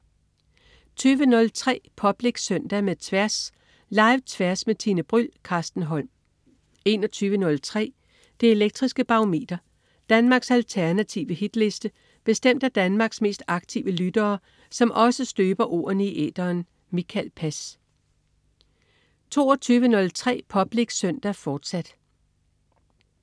20.03 Public Søndag med Tværs. Live-Tværs med Tine Bryld. Carsten Holm 21.03 Det elektriske Barometer. Danmarks alternative hitliste bestemt af Danmarks mest aktive lyttere, som også støber ordene i æteren. Mikael Pass 22.03 Public Søndag, fortsat